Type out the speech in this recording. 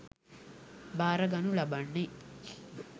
භාරගනු ලබන්නේ